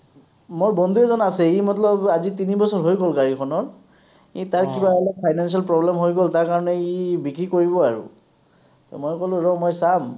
মোৰ বন্ধু এজন আছে, সি মতলব আজি তিনি বছৰ হৈ গ’ল গাড়ীখনৰ, এই তাৰ কিবা অলপ finance ৰ problem হৈ গ’ল। তাৰ কাৰণে ই বিক্ৰী কৰিব আৰু। to মই ক’লো, ৰহ মই চাম,